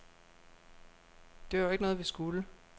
Det var jo ikke noget, vi skulle.